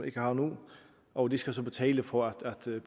ikke har nu og de skal så betale for at